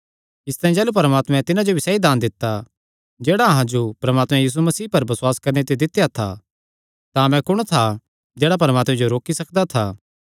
इसतांई जाह़लू परमात्मे तिन्हां जो भी सैई दान दित्ता जेह्ड़ा अहां जो परमात्मे यीशु मसीह पर बसुआस करणे ते दित्या था तां मैं कुण था जेह्ड़ा परमात्मे जो रोकी सकदा था